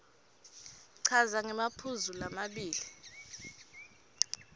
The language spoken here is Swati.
chaza ngemaphuzu lamabili